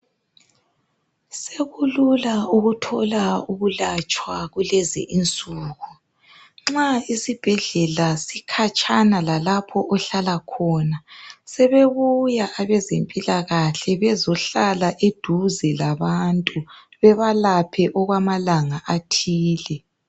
Sekulula ukuthola ukulatshwa kulezi insuku. Nxa isibhedlela sikhatshana lalapho ohlala khona. Sebebuya abezempilakahle bazehlala eduze labantu bebalaphe okwamalanga athile.